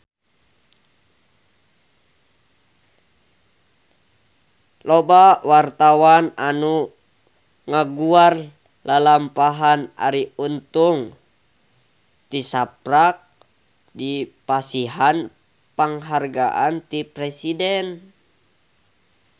Loba wartawan anu ngaguar lalampahan Arie Untung tisaprak dipasihan panghargaan ti Presiden